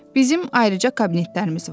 Bizim ayrıca kabinetlərimiz var.